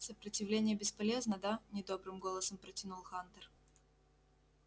сопротивление бесполезно да недобрым голосом протянул хантер